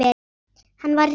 Hann var rekinn.